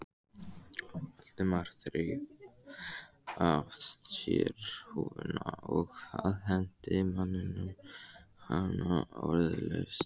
Valdimar þreif af sér húfuna og afhenti manninum hana orðalaust.